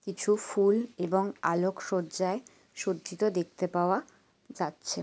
কিছু ফুল এবং আলোক সজ্জায় সজ্জিত দেখতে পাওয়া যাচ্ছে।